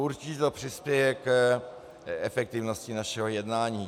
Určitě to přispěje k efektivnosti našeho jednání.